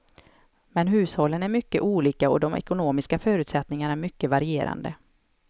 Men hushållen är mycket olika och de ekonomiska förutsättningarna mycket varierande.